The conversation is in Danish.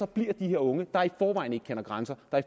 bliver de her unge der i forvejen ikke kender grænser og